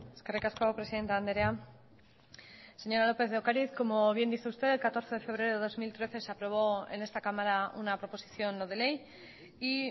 eskerrik asko presidente andrea señora lópez de ocariz como bien dice usted el catorce de febrero de dos mil trece se aprobó en esta cámara una proposición no de ley y